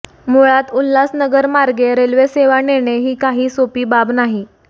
मूळात उल्हासनगरमार्गे रेल्वेसेवा नेणे ही काही सोपी बाब नाही